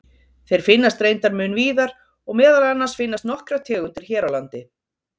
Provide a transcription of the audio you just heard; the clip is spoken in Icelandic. Þeir finnast reyndar mun víðar og meðal annars finnast nokkrar tegundir hér á landi.